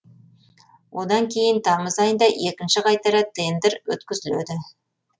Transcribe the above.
одан кейін тамыз айында екінші қайтара тендр өткізіледі